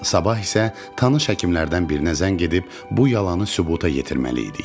Sabah isə tanış həkimlərdən birinə zəng edib bu yalanı sübuta yetirməli idik.